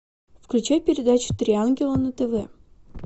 включи передачу три ангела на тв